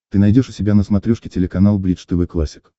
ты найдешь у себя на смотрешке телеканал бридж тв классик